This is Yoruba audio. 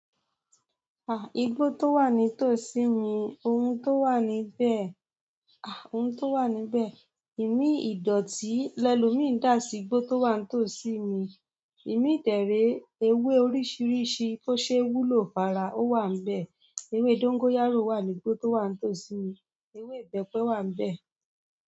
Igbó tó wà ní tòsí mi, ohun tó wà níbẹ̀, ohun tó wà níbẹ̀, imi ìdọ̀tí, lẹ́lùmi ń dà sí igbó tó wà ní tòsí mi, imi dẹ̀ re ewé oríṣiríṣi tó ṣe wúlò fara, ó wà níbẹ̀. Ewé dógóyárò wà ní igbó tó wà ní tòsí mi, ewé ìbẹ́pẹ wà níbẹ̀.